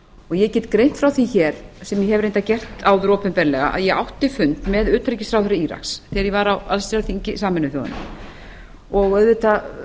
get greint frá því hér sem ég hef reyndar gert áður opinberlega að ég átti fund með utanríkisráðherra íraks þegar ég var á allsherjarþingi sameinuðu þjóðanna og auðvitað